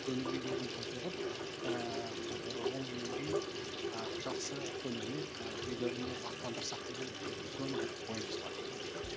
көңіл күйлерін көтеріп бір он күннен кейін жақсы көңілмен үйлеріне аттандырсақ деген үлкен бір ойымыз бар